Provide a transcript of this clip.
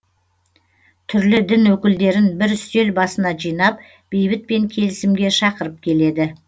түрлі дін өкілдерін бір үстел басына жинап бейбіт пен келісімге шақырып келеді